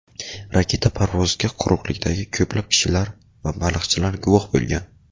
Raketa parvoziga quruqlikdagi ko‘plab kishilar va baliqchilar guvoh bo‘lgan.